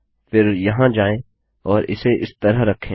फिर यहाँ जाएँ और इसे इस तरह रखें